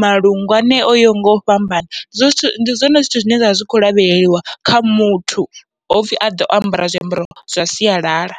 malungu anea oyaho ngau fhambana. Zwezwo zwithu ndi zwone zwithu zwine zwavha zwi kho lavheleliwa kha muthu hopfhi aḓe o ambara zwiambaro zwa sialala.